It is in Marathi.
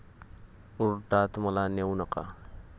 कोर्टात मला नेऊ नका